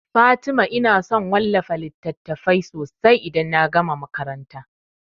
Fatima ina son wallafa littatafai sosai idan na gama makaranta